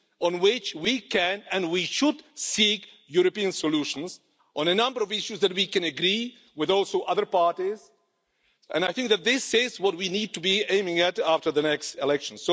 on which we can and we should seek European solutions, on a number of issues that we can also agree with other parties, and I think that this is what we need to be aiming at after the next election.